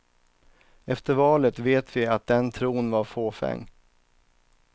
Efter valet vet vi att den tron var fåfäng.